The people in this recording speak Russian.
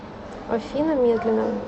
афина медленно